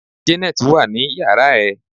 janet wa ni yara ẹ